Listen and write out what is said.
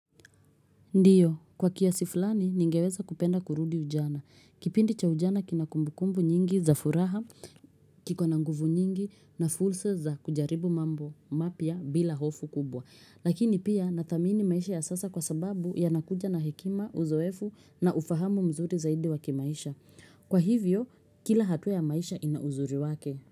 Ndiyo, kwa kiasi fulani, ningeweza kupenda kurudi ujana. Kipindi cha ujana kina kumbukumbu nyingi za furaha, kiko na nguvu nyingi na fursa za kujaribu mambo mapya bila hofu kubwa. Lakini pia, nadhamini maisha ya sasa kwa sababu yanakuja na hekima, uzoefu na ufahamu mzuri zaidi wa kimaisha. Kwa hivyo, kila hatua ya maisha ina uzuri wake.